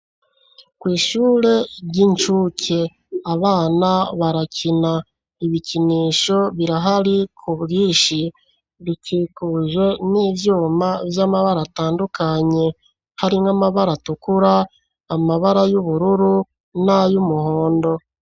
Kw'ishure ry'incuke abana barakina, ibikinisho birahari ku bwinshi, bikikuje n'ivyuma vy'amabara atandukanye harimwo amabara atukura, amabara y'ubururu, n'ayumuhondo.